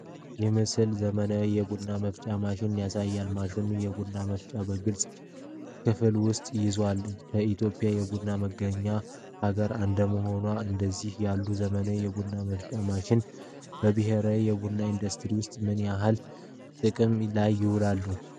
ይህ ምስል የዘመናዊ የቡና መፍጫ ማሽን ያሳያል። ማሽኑ የቡና ፍሬዎችን በግልጽ ክፍል ውስጥ ይዟል። ኢትዮጵያ የቡና መገኛ ሀገር እንደመሆኗ፣ እንደነዚህ ያሉ ዘመናዊ የቡና መፍጫ ማሽኖች በብሔራዊ የቡና ኢንዱስትሪ ውስጥ ምን ያህል ጥቅም ላይ ይውላሉ?